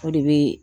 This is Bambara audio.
O de bɛ